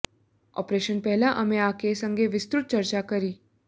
operation પહેલા અમે આ કેસ અંગે વિસ્તૃત ચર્ચા કરી